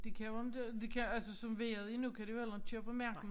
De kan jo inte de kan altså som vejret er nu kan de jo heller ikke køre på marken